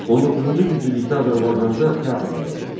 19-cu yüzillikdə Azərbaycanda teatr yaradıldı.